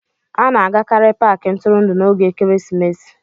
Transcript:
A na-agakarị Paakị ntụrụndụ n'oge ekeresimesi